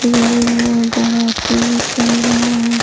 भी चल रहा है।